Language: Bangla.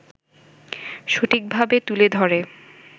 সঠিকভাবে তুলে ধরে